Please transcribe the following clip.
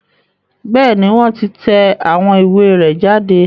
Bẹ́ẹ̀ni, wọn ti tẹ awọn iwe rẹ jade